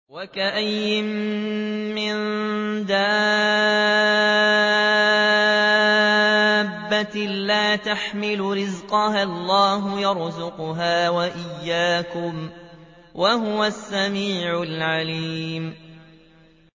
وَكَأَيِّن مِّن دَابَّةٍ لَّا تَحْمِلُ رِزْقَهَا اللَّهُ يَرْزُقُهَا وَإِيَّاكُمْ ۚ وَهُوَ السَّمِيعُ الْعَلِيمُ